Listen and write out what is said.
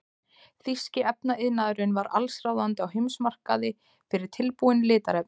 Þýski efnaiðnaðurinn var allsráðandi á heimsmarkaði fyrir tilbúin litarefni.